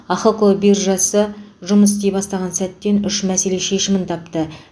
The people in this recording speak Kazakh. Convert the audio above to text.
ахқо биржасы жұмыс істей бастаған сәттен үш мәселе шешімін тапты